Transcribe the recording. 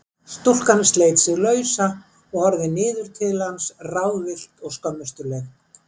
Stúlkan sleit sig lausa og horfði niður til hans ráðvillt og skömmustuleg.